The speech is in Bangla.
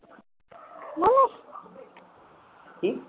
কি?